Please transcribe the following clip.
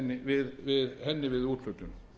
við henni við úthlutun